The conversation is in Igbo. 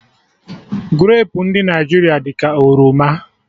Grapu ndụ Naijiria dị ka oroma